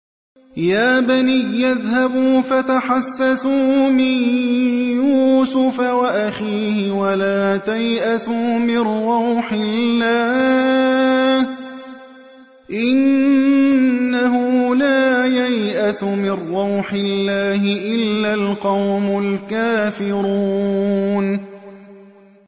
يَا بَنِيَّ اذْهَبُوا فَتَحَسَّسُوا مِن يُوسُفَ وَأَخِيهِ وَلَا تَيْأَسُوا مِن رَّوْحِ اللَّهِ ۖ إِنَّهُ لَا يَيْأَسُ مِن رَّوْحِ اللَّهِ إِلَّا الْقَوْمُ الْكَافِرُونَ